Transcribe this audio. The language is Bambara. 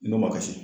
N'o ma kasi